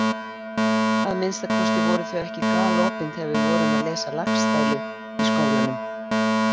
Að minnsta kosti voru þau ekki galopin þegar við vorum að lesa Laxdælu í skólanum.